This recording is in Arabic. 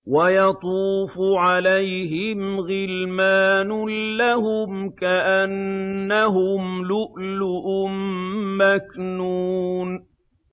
۞ وَيَطُوفُ عَلَيْهِمْ غِلْمَانٌ لَّهُمْ كَأَنَّهُمْ لُؤْلُؤٌ مَّكْنُونٌ